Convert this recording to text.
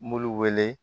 Mulu wele